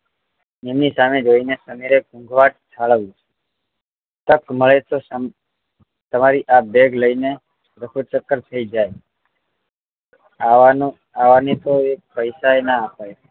એમની સામે જોઈ ને સમીરે ઉભરાત ઠાલવ્યું તક મળે તો તમારી આ બેગ લઇ ને રફુચક્કર થઈ જાય આવા ને આવા ને તો પૈસા ના અપાય